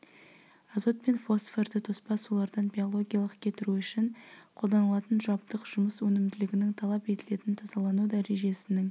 азот пен фосфорды тоспа сулардан биологиялық кетіру үшін қолданылатын жабдық жұмыс өнімділігінің талап етілетін тазалану дәрежесінің